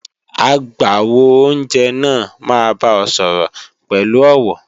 Agbàwo-óunjẹ náà máa bá ọ sọ̀rọ̀ pẹ̀lú ọ̀wọ̀